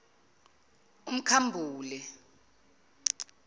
umkhambule